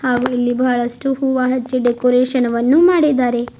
ಹಾಗು ಇಲ್ಲಿ ಬಹಳಷ್ಟು ಹೂವ ಹಚ್ಚಿ ಡೆಕೋರೇಷನ್ ವನ್ನು ಮಾಡಿದ್ದಾರೆ.